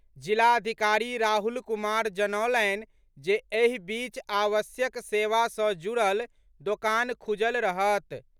जिलाधिकारी राहुल कुमार जनौलनि जे एहि बीच आवश्यक सेवा सँ जुड़ल दोकान खुजल रहत।